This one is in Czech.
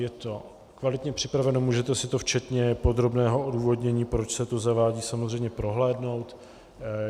Je to kvalitně připraveno, můžete si to včetně podrobného odůvodnění, proč se to zavádí, samozřejmě prohlédnout.